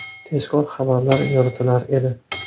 Tezkor xabarlar yoritilar edi.